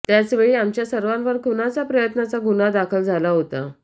त्यावेळी आमच्या सर्वांवर खुनाच्या प्रयत्नाचा गुन्हा दाखल झाला होता